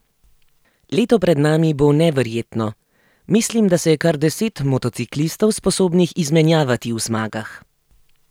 Leto pred nami bo neverjetno, mislim, da se je kar deset motociklistov sposobnih izmenjavati v zmagah.